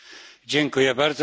Dziękuję bardzo.